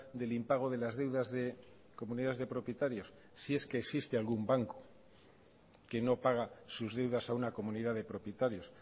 del impago de las deudas de comunidades de propietarios si es que existe algún banco que no paga sus deudas a una comunidad de propietarios